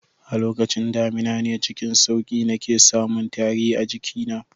A lokacin damina ne cikin sauki nake samun tari a jikina